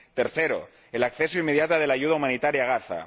tercero, el acceso inmediato de la ayuda humanitaria a Gaza